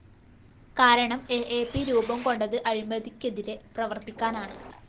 കാരണം A A P രൂപംകൊണ്ടത് അഴിമതിക്കെതിരെ പ്രവര്‍ത്തിക്കാനാണ്